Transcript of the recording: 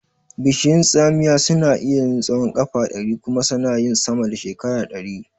Bishiyun tsamiya suna iya yin tsahon ƙafa ɗari kuma sana yin sama da shekara ɗari.